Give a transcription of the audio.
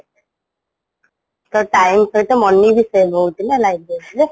ତ time ସହିତ money ବି save ହଉଚି ନା library ରେ